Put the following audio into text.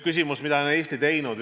Küsimus, mida on Eesti teinud.